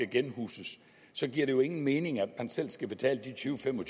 genhuses så giver det jo ingen mening at man selv skal betale de tyvetusind